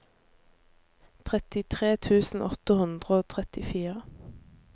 trettitre tusen åtte hundre og trettifire